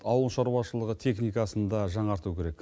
ауылшарушылығы техникасын да жаңарту керек